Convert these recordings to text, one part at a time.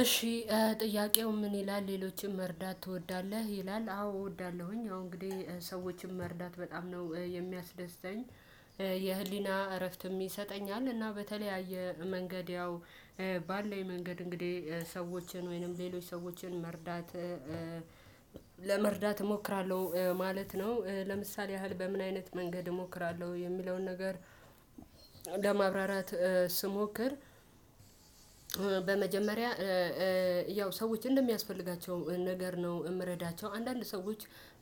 እሺ ጥያቄው ምን ይላል? ሌሎችን መርዳት ትወዳለህ ይላል አዎ እወዳለሁኝ አሁን እንግዲህ ሰዎችን መርዳት በጣም ነው የሚያስደስተኝ። የህሊና እረፍት ይሰጠኛል። እና በተለያየ መንገድ ያው ባለኝ መንገድ እንግዲህ ሰዎችን ወይንም ሌሎች ሰዎችን መርዳት። ለመርዳት እሞክራለሁ ማለት ነው። ለምሳሌ ያህል በምን አይነት መንገድ እሞክራለሁ የሚለውን ነገር ለማብራራት ስሞክር። በመጀመሪያ ያው ሰዎች እንደሚያስፈልጋቸው ነገር ነው የምረዳቸው። አንዳንድ ሰዎች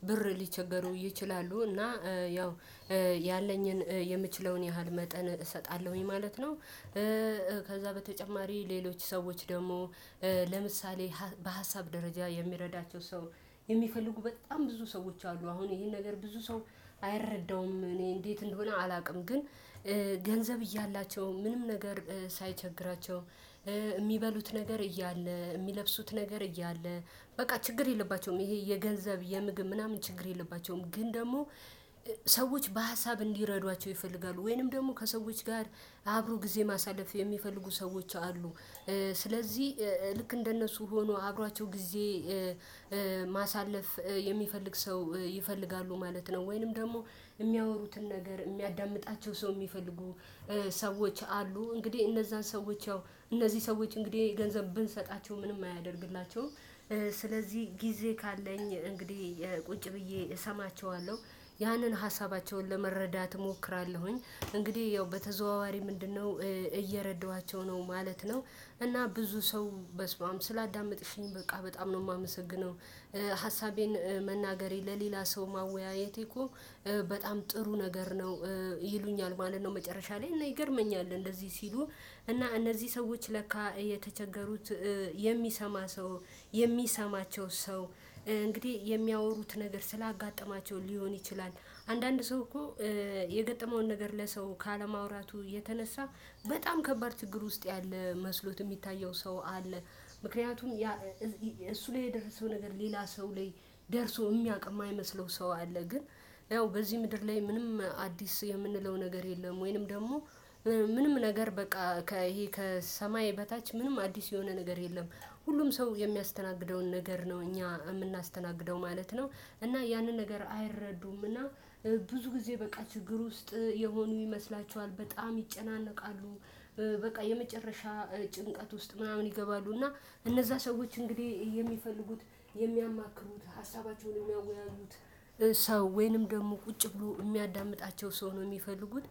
ብር ሊቸገሩ ይችላሉ እና ያው ያለኝን የምችለውን ያህል መጠን እሰጣለሁኝ ማለት ነው። ከዛ በተጨማሪ ሌሎች ሰዎች ደግሞ ለምሳሌ በሀሳብ ደረጃ የሚረዳቸው ሰው የሚፈልጉ በጣም ብዙ ሰዎች አሉ። አሁን ይሄን ነገር ብዙ ሰው አይረዳውም እኔ እንዴት እንደሆነ አላውቅም። ግን ገንዘብ እያላቸው ምንም ነገር ሳይቸግራቸው የሚበሉት ነገር እያለ የሚለብሱት ነገር እያለ በቃ ችግር የለባቸውም። ይሄ የገንዘብ የምግብ ምናምን ችግር የለባቸውም። ግን ደግሞ ሰዎች በሀሳብ እንዲረዷቸው ይፈልጋሉ ወይንም ደግሞ ከሰዎች ጋር አብሮ ጊዜ ማሳለፍ የሚፈልጉ ሰዎች አሉ። ስለዚህ ልክ እንደነሱ ሆኖ አብሯቸው ጊዜ ማሳለፍ የሚፈልግ ሰው ይፈልጋሉ ማለት ነው። ወይንም ደግሞ የሚያወሩትን ነገር የሚያዳምጣቸው ሰው የሚፈልጉ ሰዎች አሉ። እንግዲህ እነዛን ሰዎች ያው እነዚህ ሰዎች እንግዲህ ገንዘብ ብንሰጣቸው ምንም አያደርግላቸውም። ስለዚህ ጊዜ ካለኝ እንግዲህ ቁጭ ብዬ እሰማቸዋለሁ ያንን ሀሳባቸውን ለመረዳት እሞክራለሁኝ። እንግዲህ ያው በተዘዋዋሪ ምንድነው እየረዳኋቸው ነው ማለት ነው። እና ብዙ ሰው በስማም ስላዳመጥሽኝ በቃ በጣም ነው የማመሰግነው። ሀሳቤን መናገሬ ለሌላ ሰው ማወያየቴ እኮ በጣም ጥሩ ነገር ነው። ይሉኛል ማለት ነው መጨረሻ ላይ እና ይገርመኛል እንደዚህ ሲሉ። እና እነዚህ ሰዎች ለካ የተቸገሩት የሚሰማ ሰው የሚሰማቸው ሰው እንግዲህ የሚያወሩት ነገር ስላጋጠማቸው ሊሆን ይችላል። አንዳንድ ሰው እኮ የገጠመውን ነገር ለሰው ካለማውራቱ የተነሳ በጣም ከባድ ችግር ውስጥ ያለ መስሎት የሚታየው ሰው አለ። ምክንያቱም እሱ ላይ የደረሰው ነገር ሌላ ሰው ላይ ደርሶ የሚያውቅ የማይመስለው ሰው አለ። ግን ያው በዚህ ምድር ላይ ምንም አዲስ የምንለው ነገር የለም። ወይንም ደግሞ ምንም ነገር በቃ ይሄ ከሰማይ በታች ምንም አዲስ የሆነ ነገር የለም። ሁሉም ሰው የሚያስተናግደውን ነገር ነው እኛ የምናስተናግደው ማለት ነው። እና ያንን ነገር አይረዱም እና ብዙ ጊዜ በቃ ችግር ውስጥ የሆኑ ይመስላችኋል በጣም ይጨናነቃሉ። በቃ የመጨረሻ ጭንቀት ውስጥ ምናምን ይገባሉ። እና እነዛ ሰዎች እንግዲህ የሚፈልጉት የሚያማክሩት ሀሳባቸውን የሚያውቁ ያሉት ሰው ወይንም ደግሞ ቁጭ ብሎ የሚያዳምጣቸው ሰው ነው የሚፈልጉት።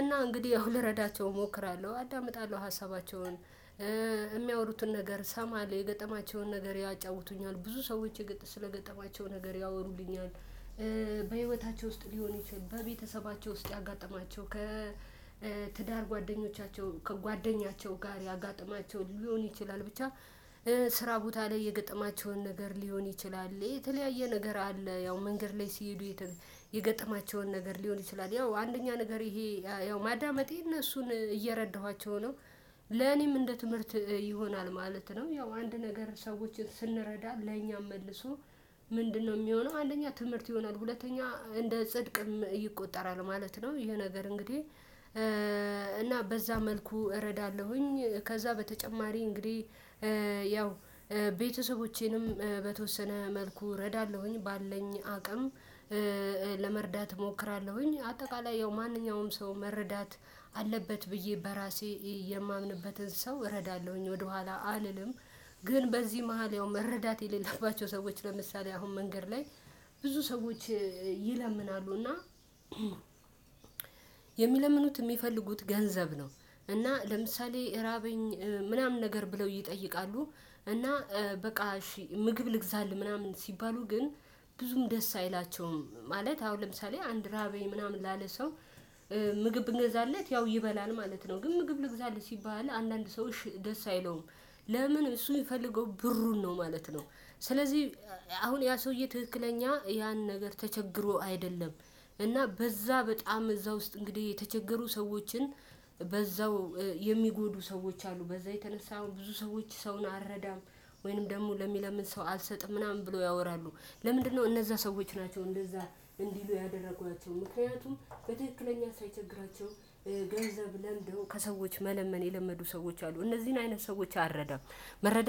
እና እንግዲህ ያው ልረዳቸው እሞክራለሁ አዳምጣለሁ ሀሳባቸውን የሚያወሩትን ነገር ሰማለሁ የገጠማቸውን ነገር ያጫውቱኛል ብዙ ሰዎች የገጠማቸው ስለገጠማቸው ነገር ያወሩልኛል። በህይወታቸው ውስጥ ሊሆን ይችል በቤተሰባቸው ውስጥ ያጋጠማቸው ከትዳር ጓደኞቻቸው ከጓደኛቸው ጋር ያጋጠማቸውን ሊሆን ይችላል። ብቻ ስራ ቦታ ላይ የገጠማቸውን ነገር ሊሆን ይችላል የተለያየ ነገር አለ። ያው መንገድ ላይ ሲሄዱ የገጠማቸውን ነገር ሊሆን ይችላል ያው አንደኛ ነገር ይሄ ያው ማዳመጤ እነሱን እየረዳኋቸው ነው። ለኔም እንደ ትምህርት ይሆናል ማለት ነው። ያው አንድ ነገር ሰዎችን ስንረዳ ለኛም መልሶ ምንድነው? የሚሆነው አንደኛ ትምህርት ይሆናል ሁለተኛ እንደ ጽድቅም ይቆጠራል ማለት ነው። ይሄ ነገር እንግዲህ እና በዛ መልኩ እረዳለሁኝ። ከዛ በተጨማሪ እንግዲህ ያው ቤተሰቦቼንም በተወሰነ መልኩ እረዳለሁኝ ባለኝ አቅም። ለመርዳት እሞክራለሁኝ አጠቃላይ ያው ማንኛውም ሰው መረዳት አለበት ብዬ በራሴ የማምንበትን ሰው እረዳለሁኝ ወደኋላ አልልም። ግን በዚህ መሃል መረዳት የሌለባቸው ሰዎች ለምሳሌ አሁን መንገድ ላይ ብዙ ሰዎች ይለምናሉና። የሚለምኑት የሚፈልጉት ገንዘብ ነው። እና ለምሳሌ ራበኝ ምናምን ነገር ብለው ይጠይቃሉ። እና በቃ እሺ ምግብ ልግዛል ምናምን ሲባሉ ግን ብዙም ደስ አይላቸውም። ማለት አሁን ለምሳሌ አንድ ራቤ ምናምን ላለ ሰው ምግብ ብንገዛለት ያው ይበላል ማለት ነው። ግን ምግብ ልግዛልህ ሲባል አንዳንድ ሰው እሺ ደስ አይለውም ለምን? እሱ የሚፈልገው ብሩን ነው ማለት ነው። ስለዚህ አሁን ያ ሰውዬ ትክክለኛ ያን ነገር ተቸግሮ አይደለም። እና በዛ በጣም እዛ ውስጥ እንግዲህ የተቸገሩ ሰዎችን በዛው የሚጎዱ ሰዎች አሉ በዛ የተነሳ ብዙ ሰዎች ሰውን አረዳም። ወይንም ደግሞ ለሚለምን ሰው አልሰጥም ምናምን ብሎ ያወራሉ። ለምንድነው? እነዛ ሰዎች ናቸው እንደዛ እንዲሉ ያደረጓቸው ምክንያቱም በትክለኛ ሳይቸግራቸው ገንዘብ ለምደው ከሰዎች መለመን የለመዱ ሰዎች አሉ እነዚህን አይነት ሰዎች አረደም። መረዳት